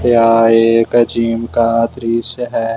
यह एक जिम का दृश्य है।